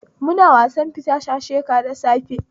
Muna fita wasan shasheka da safe